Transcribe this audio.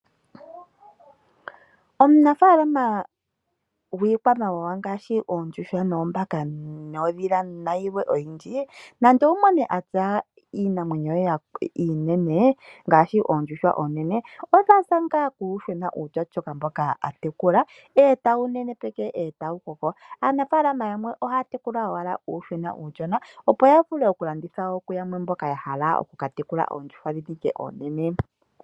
Omunafalaama gwii kwamawawa ngaashi oondjuhwa, oombaka, ondhila nayi kwawo oyindji nande owu mone ena iinamwenyo ye iinene ngaashi oondjuhwa oonene odhaza ngaa kuuyuhwena mboka a tekula . Aanafalama yamwe ohaya tekula ashike uuyuhwena uushona, opo ya vule oku landitha uuyuhwena uushona kwaamboka ya hala oku katekula oondjuhwa.